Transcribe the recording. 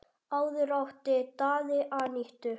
Áður átti Daði Anítu.